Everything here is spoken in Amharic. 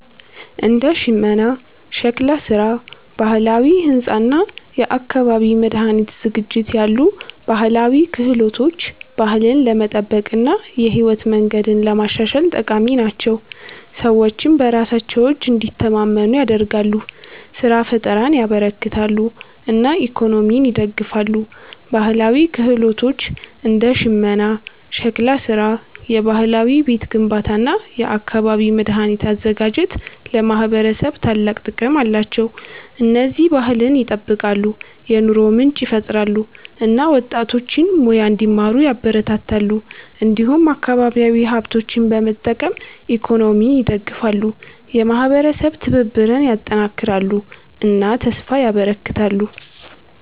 እንደ ሽመና፣ ሸክላ ስራ፣ ባህላዊ ሕንፃ እና የአካባቢ መድኃኒት ዝግጅት ያሉ ባህላዊ ክህሎቶች ባህልን ለመጠበቅ እና የህይወት መንገድን ለማሻሻል ጠቃሚ ናቸው። ሰዎችን በራሳቸው እጅ እንዲተማመኑ ያደርጋሉ፣ ስራ ፍጠርን ያበረክታሉ እና ኢኮኖሚን ይደግፋሉ። ባህላዊ ክህሎቶች እንደ ሽመና፣ ሸክላ ስራ፣ የባህላዊ ቤት ግንባታ እና የአካባቢ መድኃኒት አዘጋጅት ለማህበረሰብ ታላቅ ጥቅም አላቸው። እነዚህ ባህልን ይጠብቃሉ፣ የኑሮ ምንጭ ይፈጥራሉ እና ወጣቶችን ሙያ እንዲማሩ ያበረታታሉ። እንዲሁም አካባቢያዊ ሀብቶችን በመጠቀም ኢኮኖሚን ይደግፋሉ፣ የማህበረሰብ ትብብርን ያጠናክራሉ እና ተስፋ ያበረክታሉ።